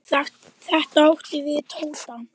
Þetta átti við Tóta.